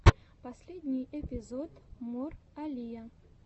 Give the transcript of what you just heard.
последний эпизод мор алия